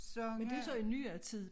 Men det jo så i nyere tid